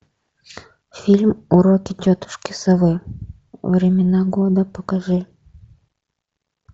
фильм уроки тетушки совы времена года покажи